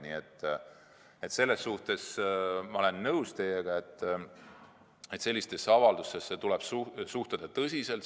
Nii et selles suhtes ma olen teiega nõus, et sellistesse avaldustesse tuleb suhtuda tõsiselt.